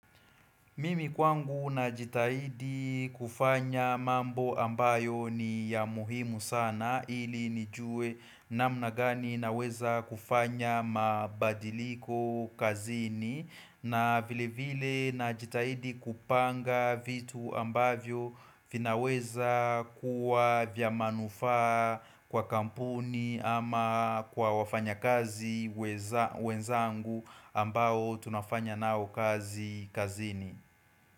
Mimi kwangu najitahidi kufanya mambo ambayo ni ya muhimu sana ili nijue namna gani naweza kufanya mabadiliko kazini na vile vile najitahidi kupanga vitu ambavyo vinaweza kuwa vya manufaa kwa kampuni ama kwa wafanya kazi wenzangu ambao tunafanya nao kazi kazini Amin.